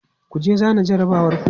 kujeku zana jarabawar ku!